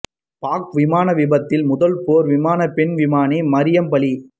பாக் விமான விபத்தில் முதல் போர் விமான பெண் விமானி மரியம் பலி